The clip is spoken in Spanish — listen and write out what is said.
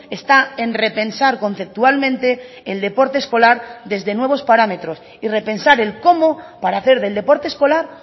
está en repensar conceptualmente el deporte escolar desde nuevos parámetros y repensar el cómo para hacer del deporte escolar